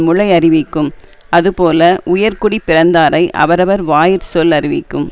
முளை யறிவிக்கும் அதுபோல உயர்குடிப்பிறந்தாரை அவரவர் வாயிற்சொல் அறிவிக்கும்